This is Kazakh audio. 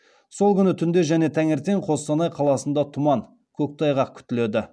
сол күні түнде және таңертең қостанай қаласында тұман көктайғақ күтіледі